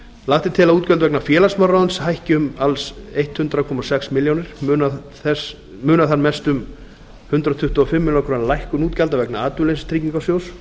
lagt er til að útgjöld vegna félagsmálaráðuneytis hækki um alls hundrað komma sex milljónir munar þar mest um hundrað tuttugu og fimm milljónir króna lækkun útgjalda vegna atvinnuleysistryggingasjóðs